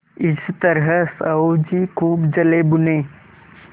इस तरह साहु जी खूब जलेभुने